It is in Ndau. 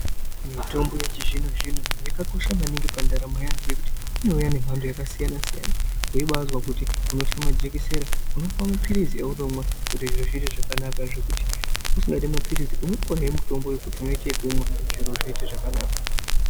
Mitombo yechizvino-zvino yakakosha maningi pandaramo yeantu ngekuti inouya ngemhando yakasiyana -siyana .Weibaazwa kuti unotya majekisera unopuwa maphirizi ounomwa zviro zvive zvakanaka zvekuti usingadi maphirizi unopuwahe mutombo wekuti unoite ekumwa zviro zvoite zvakanaka.